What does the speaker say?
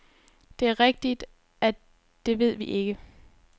Det er rigtigt, at det ved vi ikke.